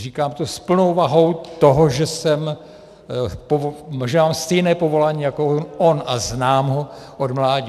Říkám to s plnou vahou toho, že mám stejné povolání jako on a znám ho od mládí.